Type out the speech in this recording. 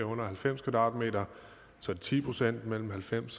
situationer